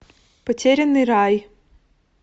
потерянный рай